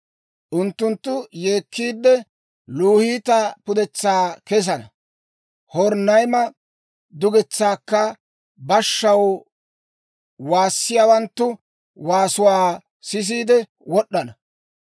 Unttunttu yeekkiidde, Luhiita pudetsaa kesana; Horonayma dugetsaakka bashshaw waassiyaawanttu waasuwaa sisiide wod'd'ana.